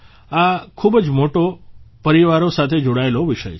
આ ખૂબ જ મોટા પરિવારો સાથે જોડાયેલો વિષય છે